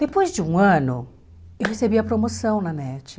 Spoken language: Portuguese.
Depois de um ano, eu recebi a promoção na NET.